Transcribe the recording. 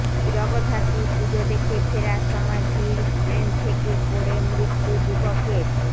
জগদ্ধাত্রী পুজো দেখে ফেরার সময় ভিড় ট্রেন থেকে পড়ে মৃত্যু যুবকের